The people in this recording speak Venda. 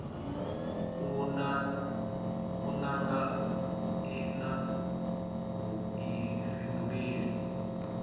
u nanga i na vhuifhinduleli